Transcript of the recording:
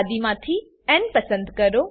યાદી માંથી ન પસંદ કરો